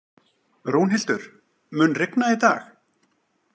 Rúnhildur, mun rigna í dag?